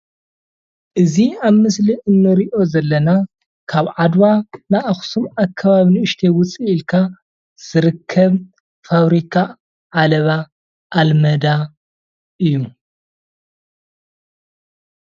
እዚ ኣብ ምስሊ እንሪኦ ዘለና ካብ ዓድዋ ንኣክሱም ኣከባቢ ንእሽተይ ውፅእ ኢልካ ዝርከብ ፋብሪካ ዓለባ ኣልማዳ እዩ።